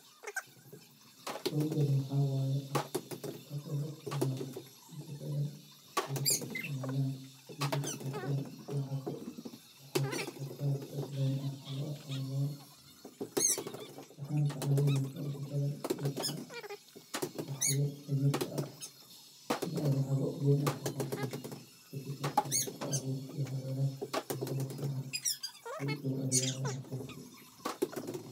Sheygaan waxa waye app kas oo loisticmalo inbadan ay dadku isticmalan inay lagatan lacago, lacago oo kaas loagano loan waxayna kacawineysa inay in badan dadka wax yar daan yarta ah, inay lacago deen ah kagataan , kadib marki ay shagaa awur iyo xaal wadag sameyan fican, ay usoceliyan lacagtas.